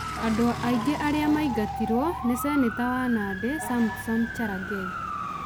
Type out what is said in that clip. Andũ angĩ arĩa maingatirwo nĩ Seneta wa Nandi Samson Cherargei,